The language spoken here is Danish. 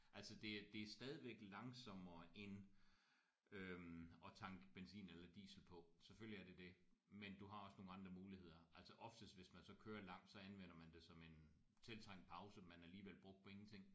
Altså det er det er stadigvæk langsommere end øh at tanke benzin eller diesel på selvfølgelig er det det men du har også nogle andre muligheder altså oftest hvis man så kører langt så anvender man det som en tiltrængt pause men alligevel bruger på ingenting